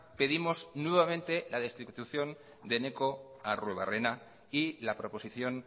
pedimos nuevamente la destitución de eneko arruebarrena y la proposición